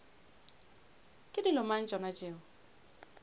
ke dilo mang tšona tšeo